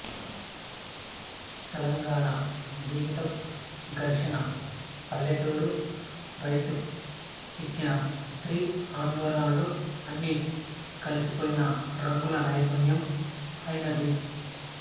తెలంగాణ జీవితం ఘర్షణ పల్లెటూరు రైతు చిక్కిన స్త్రీ ఆందోళనలు అన్నీ కలిసిపోయిన రంగుల నైపుణ్యం ఆయనది